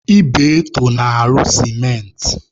Ibeto na-arụ sementị.